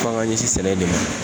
F'an g'an ɲɛsin sɛnɛ de ma